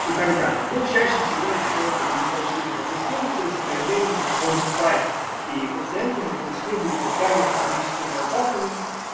и так далее но чаще всего это было вегетативная дисфункция с проявлениями эпизодов паники и пациенты бы пришли бы изначально с паническими атаками